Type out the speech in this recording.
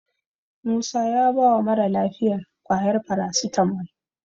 Musa ya bawa mara lafiyar ƙwayar farasitamol.